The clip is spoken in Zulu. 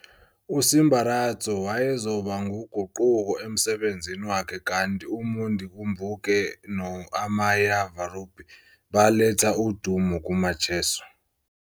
USimbaradzo wayezoba nguguquko emsebenzini wakhe kanti uMundikumbuke noAmai VaRubhi baletha udumo kuMacheso.